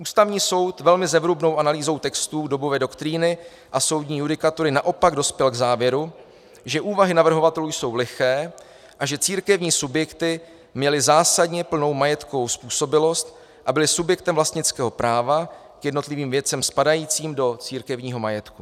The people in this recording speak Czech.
Ústavní soud velmi zevrubnou analýzou textů dobové doktríny a soudní judikatury naopak dospěl k závěru, že úvahy navrhovatelů jsou liché a že církevní subjekty měly zásadně plnou majetkovou způsobilost a byly subjektem vlastnického práva k jednotlivým věcem spadajícím do církevního majetku.